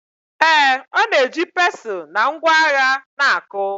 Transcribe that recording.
Ee, ọ na-eji pestle na ngwa agha na-akụ.